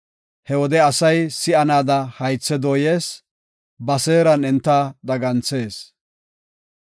He wode asay si7anaada haythe dooyees; ba seeran enta daganthees.